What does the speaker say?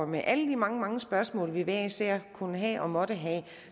med alle de mange mange spørgsmål vi hver især kunne have og måtte have